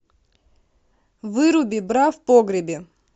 выруби бра в погребе